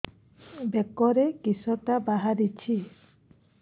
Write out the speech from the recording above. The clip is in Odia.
ବେକରେ କିଶଟା ବାହାରିଛି